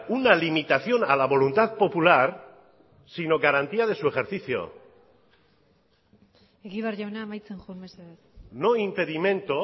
una limitación a la voluntad popular sino garantía de su ejercicio egibar jauna amaitzen joan mesedez no impedimento